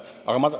Aga ma ...